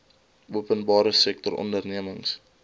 openbare sektor ondernemings